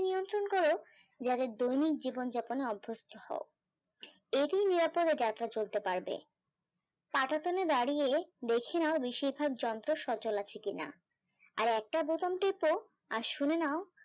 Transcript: যাদের দৈনিক জীবন যাপন অভ্যস্ত হও এরি যাত্রা চলতে পারবে তাদের সঙ্গে দাঁড়িয়ে দেখে নাউ বেশির ভাগ যন্ত্র সচল আছে কি না। আর একটা বোতাম টিপে আর শুনে নাউ